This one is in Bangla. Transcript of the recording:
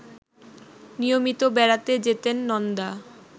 নিয়মিত বেড়াতে যেতেন নন্দা